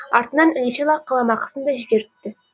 артынан іле шала қаламақысын да жіберіпті